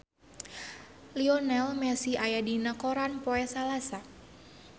Lionel Messi aya dina koran poe Salasa